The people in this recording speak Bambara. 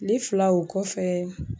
Kile fila o kɔfɛ